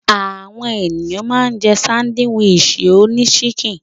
Àwọn ènìyàn ma ń jẹ́ sándíwìsì oní síkìn.